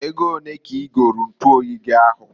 Ego onee ka i golu ntuoyi gi ahụ?